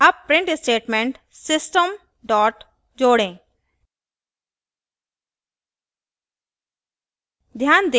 add print statement system जोड़ें